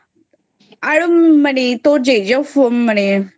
আরও মানে তোর যে যে সব্জি ভালো লাগে